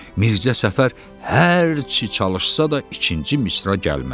Mirzə Səfər hər çi çalışsa da ikinci misra gəlmədi.